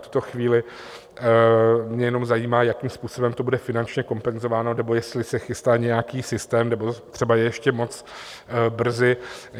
V tuto chvíli mě jenom zajímá, jakým způsobem to bude finančně kompenzováno, nebo jestli se chystá nějaký systém, nebo je třeba ještě moc brzy.